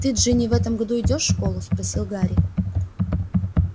ты джинни в этом году идёшь в школу спросил гарри